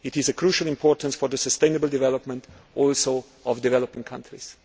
It is also of crucial importance for the sustainable development of developing countries.